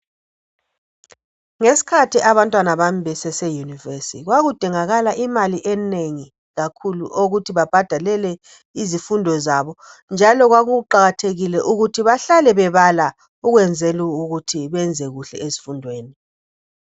Ngesikhathi abantwana bami bese univers kwakudingakala imali enengi kakhulu eyokuthi babhadalele izifundo zabonjalo kwakuqakathekile ukuthi behlale bebala ukwenzela ukuthi benze kuhle ezifundweni